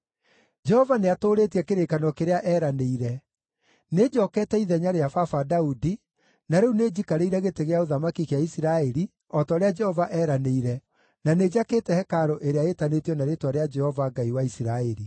“Jehova nĩatũũrĩtie kĩrĩkanĩro kĩrĩa eeranĩire. Nĩnjookete ithenya rĩa baba Daudi, na rĩu nĩnjikarĩire gĩtĩ gĩa ũthamaki gĩa Isiraeli, o ta ũrĩa Jehova eeranĩire, na nĩnjakĩte hekarũ ĩrĩa ĩtanĩtio na Rĩĩtwa rĩa Jehova, Ngai wa Isiraeli.